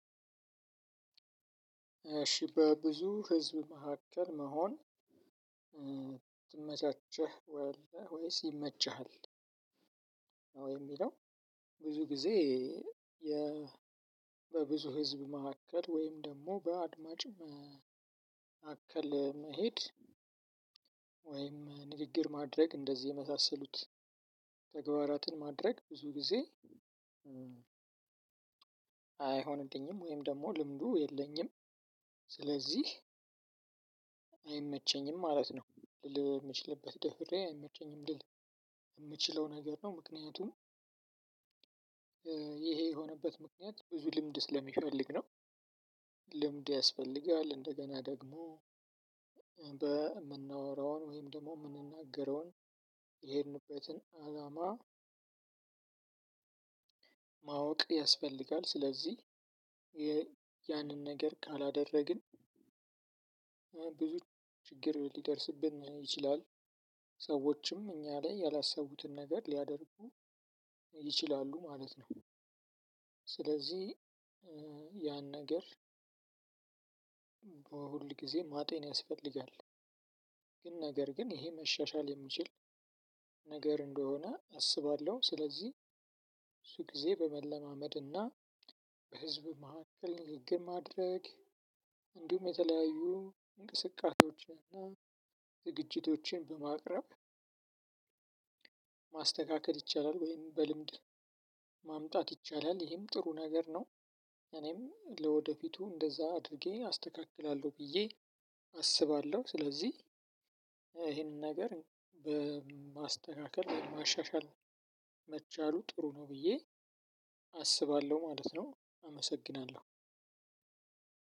እሺ በብዙ ህዝብ መካከል መሆን ትመቻቸህ ወይስ ይመችሃል ነው የሚለው ብዙ ጊዜ የ በብዙ ህዝብ መካከል ወይም ደግሞ በአድማጭም አከለ መሄድ ወይም ንግግር ማድረግ እንደዚህ የመሳሰሉት ተግባራትን ማድረግ ብዙ ጊዜ አይሆንልኝም ወይም ደግሞ ልምዱ የለኝም ስለዚህ አይመቸኝም ማለት ነው ልል የምችልበት ደፍሬ አይመቸኝም ልል የምችለው ነገር ነው ምክንያቱም ይሄ የሆነበት ምክንያት ብዙ ልምድ ስለሚፈልግ ነው ልምድ ያስፈልጋል እንደገና ደግሞ በምናወራውን ወይም ደግሞ የምንናገረውን የሄድንበትን አላማ ማወቅት ያስፈልጋል ስለዚህ ያንን ነገር ካላደረግን ብዙ ችግር ሊደርስብን ይችላል ሰዎችም እኛ ላይ ያላሰቡትን ነገር ሊያደርጉ ይችላሉ ማለት ነው ስለዚህ ያን ነገር በሁል ጊዜ ማጤን ያስፈልጋል ግን ነገር ግን ይሄ መሻሻል የሚችል ነገር እንደሆነ አስባለሁ ስለዚህ እሱ ጊዜ በመለማመድ እና በህዝብ መካከል ንግግር ማድረግ እንዲሁም የተለያዩ እንቅስቃሴዎችን ዝግጅቶችን በማቅረብ- ማስተካከል ይቻላል ወይም በልምድ ማምጣት ይቻላል። ይሄም ጥሩ ነገር ነው እኔም ለወደፊቱ እንደዛ አድርጌ አስተካክላለሁ ብዬ አስባለሁ። ስለዚህ- ይሄንን ነገር በማስተካከል ማሻሻል መቻሉ ጥሩ ነው ብዬ አስባለሁ ማለት ነው። አመሰግናለሁ።